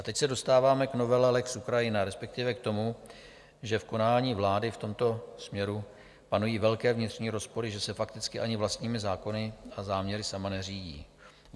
A teď se dostáváme k novele lex Ukrajina, respektive k tomu, že v konání vlády v tomto směru panují velké vnitřní rozpory, že se fakticky ani vlastními zákony a záměry sama neřídí.